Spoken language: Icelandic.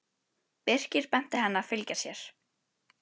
Birkir benti henni að fylgja sér.